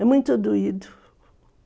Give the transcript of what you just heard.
É muito doído.